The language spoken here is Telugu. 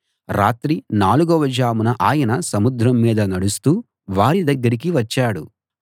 రాత్రి నాలుగవ జామున ఆయన సముద్రం మీద నడుస్తూ వారి దగ్గరికి వచ్చాడు